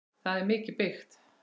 Það er mikið byggt.